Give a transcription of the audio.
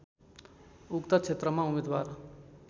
उक्त क्षेत्रमा उम्मेदवार